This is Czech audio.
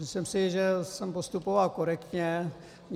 Myslím si, že jsem postupoval korektně.